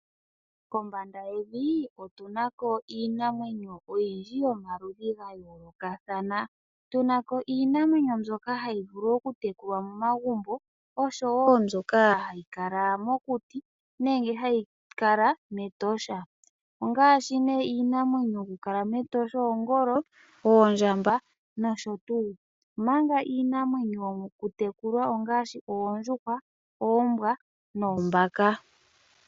Kombanda yevi otuna ko iinamwenyo oyindji yomaludhi gayoolokathana. Tuna ko iinamwenyo mbyoka hayi vulu oku tekulwa momagumbo, osho woo mbyoka hayi kala mokuti nenge hayi kala mEtosha. Ongaashi nee iinamwenyo yoku kala mEtosha oongolo, oondjamba nosho tuu, omanga iinamwenyo yokutekulwa ongaashi oondjuhwa, oombwa noombaka.